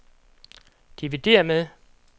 dividér med